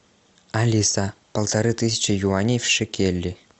алиса полторы тысячи юаней в шекели